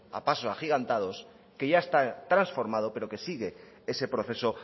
a pasos agigantados que ya está transformado pero que sigue ese proceso